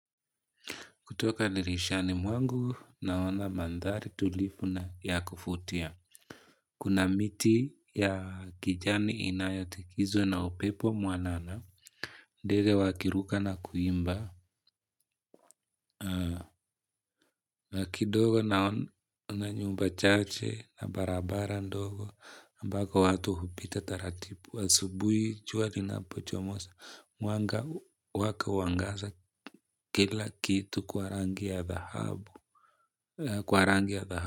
Kutoka dirishani mwangu naona mandhari tulivu na ya kuvutia. Kuna miti ya kijani inayotikizwa na upepo mwanana. Ndege wakiruka na kuimba. Na kidogo naona yumba chache na barabara ndogo. Mpaka watu hupita taratibu. Asubuhi, jua linapochomoza Mwanga huwaka huangaza kila kitu kwa rangi ya dhahabu. Kwa rangi ya thahabu.